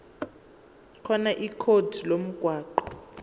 khona ikhodi lomgwaqo